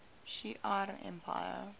shi ar empire